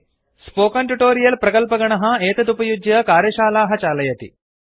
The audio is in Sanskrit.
स्पोकन् ट्युटोरियल् प्रकल्पगणः टीम् एतत् उपयुज्य कार्यशालाः चालयति